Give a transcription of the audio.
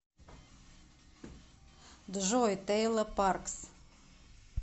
джой тейла паркс